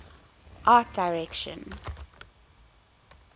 art direction